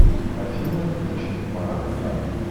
афина включи марат янг